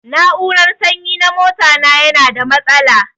Na'urar sanyi na mota na yana da matsala.